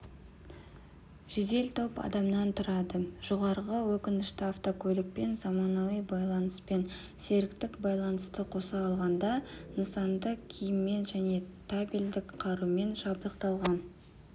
жедел топ адамнан тұрады жоғарғы өткішті автокөлікпен заманауи байланыспен серіктік байланысты қоса алғанда нысанды киіммен және табельдік қарумен жабдықталған